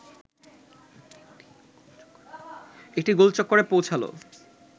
একটি গোলচক্করে পৌছালো